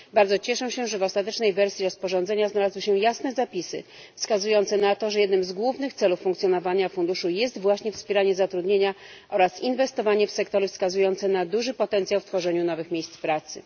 Bardzo cieszę się, że w ostatecznej wersji rozporządzenia znalazły się jasne zapisy wskazujące na to, że jednym z głównych celów funkcjonowania funduszu jest właśnie wspieranie zatrudnienia oraz inwestowanie w sektory wskazujące na duży potencjał w tworzeniu nowych miejsc pracy.